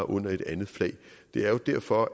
under et andet flag det er jo derfor